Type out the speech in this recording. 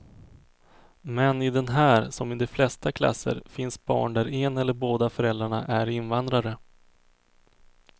Men i den här, som i de flesta klasser, finns barn där en eller båda föräldrarna är invandrare.